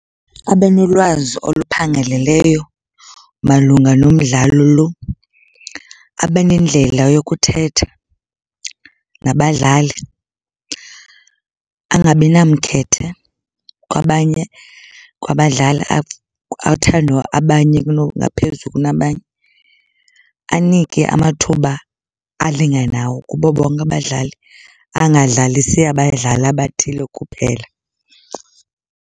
Abe nolwazi oluphangaleleyo malunga nomdlalo loo. Abe nendlela yokuthetha nabadlali. Angabi namkhethe kwabanye, kwabadlali, athande abanye ngaphezu kunabanye. Anike amathuba alinganayo kubo bonke abadlali. Angadlalisi abadlali abathile kuphela.